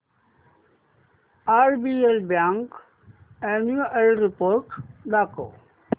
RBL bank annual report दाखव